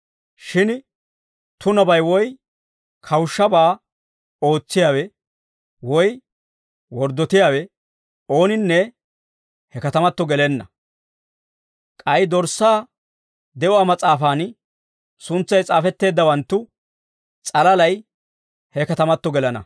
Shin tunabay woy kawushshabaa ootsiyaawe, woy worddotiyaawe ooninne he katamato gelenna. K'ay Dorssaa de'uwaa mas'aafan suntsay s'aafetteeddawanttu s'alalay he katamato gelana.